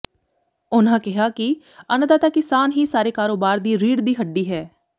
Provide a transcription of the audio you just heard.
ਉਨ੍ਹਾਂ ਕਿਹਾ ਕਿ ਅੰਨਦਾਤਾ ਕਿਸਾਨ ਹੀ ਸਾਰੇ ਕਾਰੋਬਾਰ ਦੀ ਰੀੜ੍ਹ ਦੀ ਹੱਡੀ ਹੈ